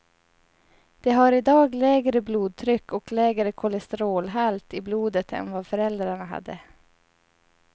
De har i dag lägre blodtryck och lägre kolesterolhalt i blodet än vad föräldrarna hade.